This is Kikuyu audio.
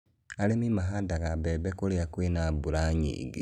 arĩmi mahandaga mbembe kũrĩa kwĩ na mbura nyingĩ.